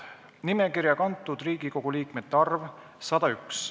Nimekirja kantud Riigikogu liikmete arv – 101.